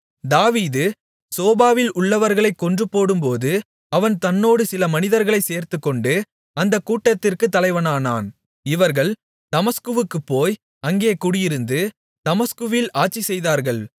தாவீது சோபாவில் உள்ளவர்களைக் கொன்றுபோடும்போது அவன் தன்னோடு சில மனிதர்களைச் சேர்த்துக்கொண்டு அந்தக் கூட்டத்திற்குத் தலைவனானான் இவர்கள் தமஸ்குவுக்குப் போய் அங்கே குடியிருந்து தமஸ்குவில் ஆட்சி செய்தார்கள்